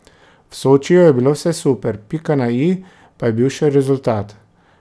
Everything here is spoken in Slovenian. V Sočiju je bilo vse super, pika na i pa je bil še rezultat.